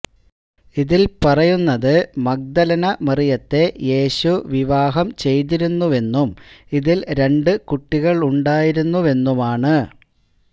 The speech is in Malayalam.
ഇതില് പറയുന്നത് മഗ്ദലന മറിയത്തെ യേശു വിവാഹം ചെയ്തിരുന്നുവെന്നും ഇതില് രണ്ടു കുട്ടികളുണ്ടായിരുന്നുവെന്നുമാണ്